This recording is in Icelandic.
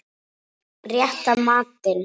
Rétta matinn.